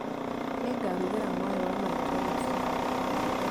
Nĩngarugĩra mwarĩ wa maitũ rũciũ